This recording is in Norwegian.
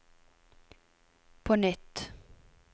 på nytt